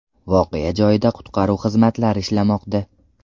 Voqea joyida qutqaruv xizmatlari ishlamoqda.